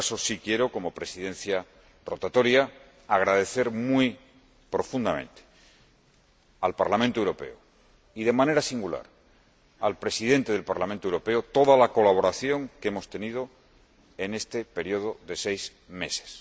En todo caso, sí quiero, como Presidente rotatorio del Consejo, agradecer muy profundamente al Parlamento Europeo, y de manera singular al Presidente del Parlamento Europeo, toda la colaboración que hemos tenido en este período de seis